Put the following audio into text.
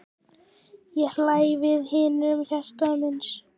Ég hlæ við mínum hjartans vini.